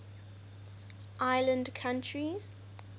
island countries